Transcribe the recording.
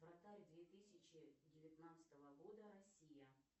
вратарь две тысячи девятнадцатого года россия